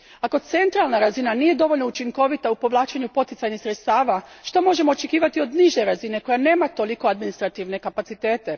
Ako centralna razina nije dovoljno učinkovita u povlačenju poticajnih sredstava, što možemo očekivati od niže razine koja nema tolike administrativne kapacitete?